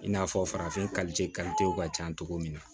I n'a fɔ farafin ka ca cogo min na